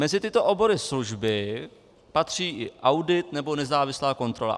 Mezi tyto obory služby patří i audit nebo nezávislá kontrola.